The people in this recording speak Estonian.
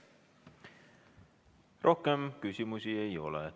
Rohkem küsimusi ei ole.